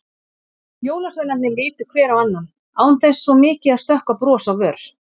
Jólasveinarnir litu hver á annan, án þess svo mikið að stökkva bros á vör.